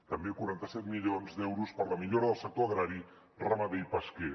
també quaranta set milions d’euros per a la millora del sector agrari ramader i pesquer